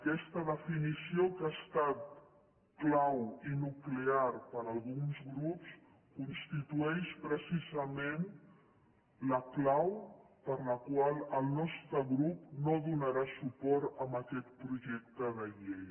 aquesta definició que ha estat clau i nuclear per alguns grups constitueix precisament la clau per la qual el nostre grup no donarà suport a aquest projecte de llei